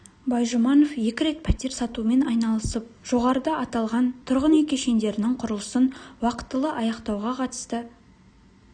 байжұманов екі рет пәтер сатумен айналысып жоғарыда аталған тұрғын үй кешендерінің құрылысын уақтылы аяқтауға қатысты